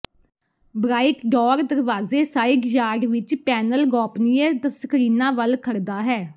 bright door ਦਰਵਾਜ਼ੇ side yard ਵਿੱਚ panel ਗੋਪਨੀਯ ਸਕ੍ਰੀਨਾਂ ਵੱਲ ਖੜਦਾ ਹੈ